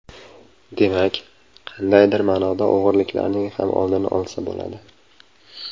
Demak, qandaydir ma’noda o‘g‘riliklarning ham oldini olsa bo‘ladi.